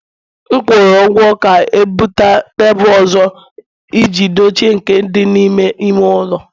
M kwụrụ ụgwọ ka o buta tebụl ọzọ iji dochie nke dị n'ime ime ụlọ